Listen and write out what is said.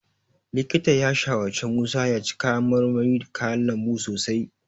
Likitan ya shawarci Musa ya ci kayan marmari da kayan lambu sosai.